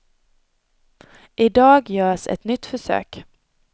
I dag görs ett nytt försök.